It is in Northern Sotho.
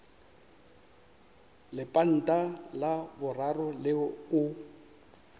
lepanta la boraro leo o